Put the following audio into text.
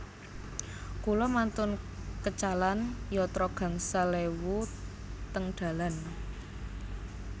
Kula mantun kecalan yatra gangsal ewu teng dalan